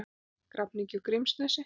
Grafningi og Grímsnesi.